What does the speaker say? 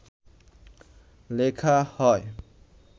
লেখা হয়